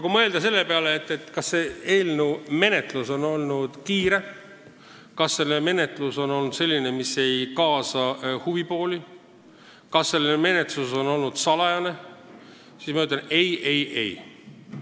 Kui mõelda selle üle, kas eelnõu menetlus on olnud kiire, kas menetlus on olnud selline, et pole kaasatud huvipooli, kas menetlus on olnud salajane, siis ma ütlen: ei, ei, ei!